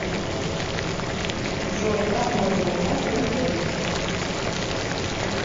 джой как можно узнать пин код